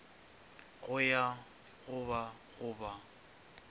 go ya go go ba